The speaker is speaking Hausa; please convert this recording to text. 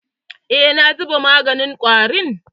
Eh, na zuba maganin ƙwarin.